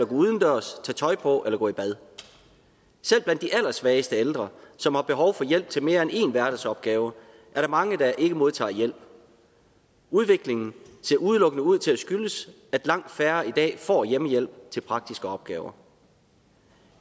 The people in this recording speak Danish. udendørs tage tøj på eller gå i bad selv blandt de allersvageste ældre som har behov for hjælp til mere end en hverdagsopgave er der mange der ikke modtager hjælp udviklingen ser udelukkende ud til at skyldes at langt færre i dag får hjemmehjælp til praktiske opgaver